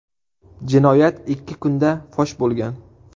Jinoyat ikki kunda fosh bo‘lgan.